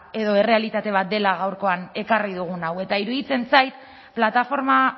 edo errealitate bat dela gaurkoan ekarri dugun hau eta iruditzen zait plataforma